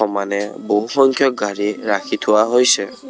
মানে বহু সংখ্যক গাড়ী ৰাখি থোৱা হৈছে।